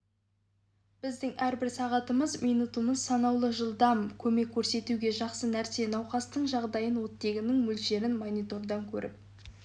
біздің әрбір сағатымыз минутымыз санаулы жылдам көмек көрсетуге жақсы нәрсе науқастың жағдайын оттегінің мөлшерін монитордан көріп